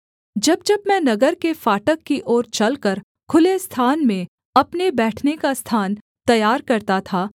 जब जब मैं नगर के फाटक की ओर चलकर खुले स्थान में अपने बैठने का स्थान तैयार करता था